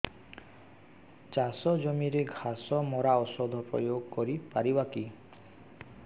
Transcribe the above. ଚାଷ ଜମିରେ ଘାସ ମରା ଔଷଧ ପ୍ରୟୋଗ କରି ପାରିବା କି